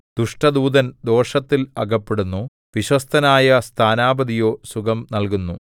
ദുഷ്ടദൂതൻ ദോഷത്തിൽ അകപ്പെടുന്നു വിശ്വസ്തനായ സ്ഥാനാപതിയോ സുഖം നല്കുന്നു